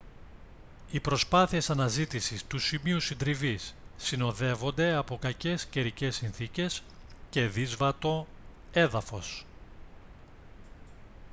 οι προσπάθειες αναζήτησης του σημείου συντριβής συνοδεύονται από κακές καιρικές συνθήκες και δύσβατο έδαφος